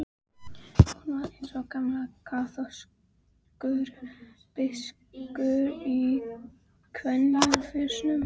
Hún var eins og gamall kaþólskur biskup í kvenmannsfötum.